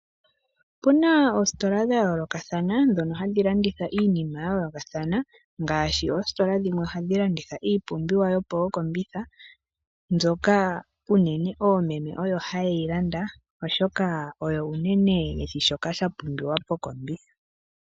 Opu na oositola dha yoolokathana ndhono hadhi landitha iinima ya yoolokathana ngaashi oositola dhimwe ohadhi landitha iipumbiwa yomookombitha mbyoka unene oomeme oyo haye yi landa, oshoka oyo unene ye shi shoka sha pumbiwa mokombitha.